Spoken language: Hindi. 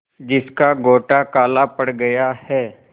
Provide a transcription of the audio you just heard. जिसका गोटा काला पड़ गया है